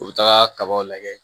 U bɛ taga kabaw lajɛ